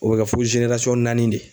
O bɛ kɛ fo naani de.